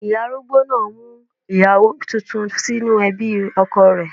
Ìyá arúgbó náà á mú ìyàwó tuntun sínú ẹbí ọkọ rẹ̀.